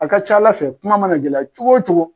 A ka ca ala fɛ kuma mana gɛlɛya cogo o cogo.